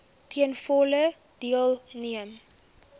ten volle deelneem